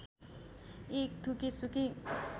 एक थुकी सुकी